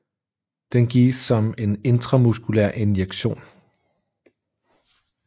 Den gives som en intramuskulær injektion